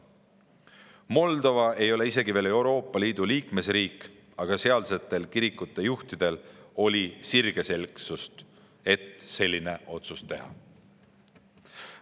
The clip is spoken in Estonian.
Moldova ei ole isegi veel Euroopa Liidu liikmesriik, aga sealsetel kirikujuhtidel oli sirgeselgsust, et selline otsus teha.